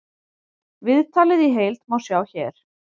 Viðtalið í heild má sjá hér